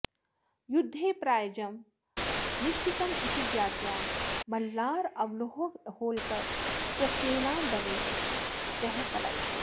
युद्धे पराजयम् निश्चितम् इति ज्ञात्वा मल्हाररावहोल्करः स्वसेनादलेन सह पलायितः